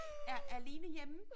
Er er Line hjemme?